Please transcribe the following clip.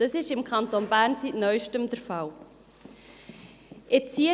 Das ist im Kanton Bern seit Neuestem der Fall.